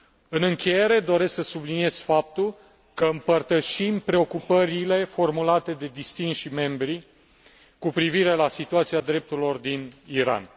În încheiere, doresc să subliniez faptul că împărtășim preocupările formulate de distinșii membri cu privire la situația drepturilor omului din Iran.